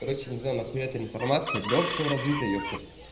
короче не знаю на хуя эта информация для общего развития ёпта